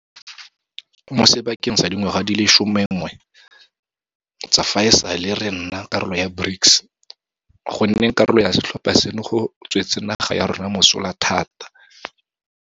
Mo sebakeng sa dingwaga di le 11 tsa fa e sale re nna karolo ya BRICS, go nneng karolo ya setlhopha seno go tswetse naga ya rona mosola thata.